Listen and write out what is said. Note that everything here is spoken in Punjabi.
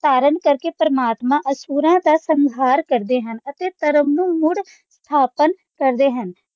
ਧਾਰਨ ਕਰਕੇ ਪਰਮਾਤਮਾ ਅਸੁਰਾ ਦਾ ਸੰਘਾਰ ਕਰਦੇ ਹਨ ਅਤੇ ਧਰਮ ਨੂੰ ਮੁੜ ਸਥਾਪਨ ਕਰਦੇ ਹਨ।